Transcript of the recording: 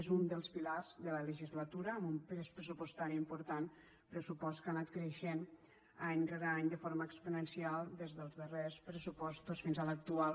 és un dels pilars de la legislatura amb un pes pressupostari important pressupost que ha anat creixent any rere any de forma exponencial des dels darrers pressupostos fins a l’actual